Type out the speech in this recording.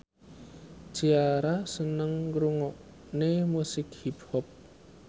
Ciara seneng ngrungokne musik hip hop